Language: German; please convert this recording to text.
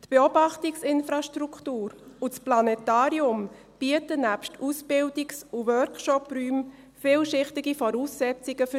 Die Beobachtungsinfrastruktur und das Planetarium bieten nebst Ausbildungs- und Workshopräumen vielschichtige Voraussetzungen dafür.